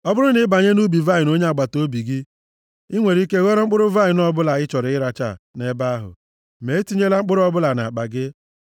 Ọ bụrụ na ị banye nʼubi vaịnị onye agbataobi gị, i nwere ike ghọrọ mkpụrụ vaịnị ọbụla ị chọrọ rachaa nʼebe ahụ, ma etinyela mkpụrụ ọbụla nʼakpa gị.